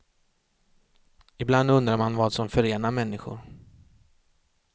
Ibland undrar man vad som förenar människor.